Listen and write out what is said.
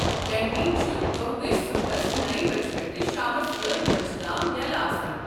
Canteen چھُ دۄہدِش صُبحس نو بجہِ پٮ۪ٹھٕ شامس أٹھ بجہِ تام یلہٕ آسان۔